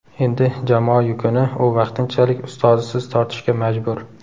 Endi jamoa yukini u vaqtinchalik ustozisiz tortishga majbur.